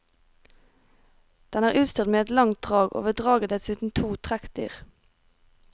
Den er utstyrt med et langt drag og ved draget dessuten to trekkdyr.